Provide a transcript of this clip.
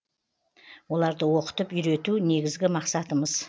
оларды оқытып үйрету негізгі мақсатымыз